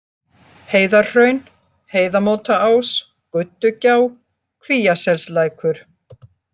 Heiðarhraun, Heiðamótaás, Guddugjá, Kvíaselslækur